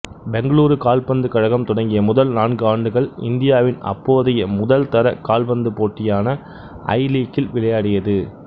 பெங்களூரு கால்பந்து கழகம் தொடங்கிய முதல் நான்கு ஆண்டுகள் இந்தியாவின் அப்போதைய முதல் தர கால்பந்து போட்டியான ஐலீக்கில் விளையாடியது